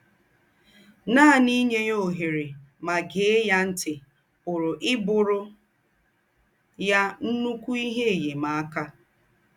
Nànì ínyè ya òhèrè mà gèè ya ńtì pùrù íbùrù ya ńnụ́kù íhe ènyèm̀akà.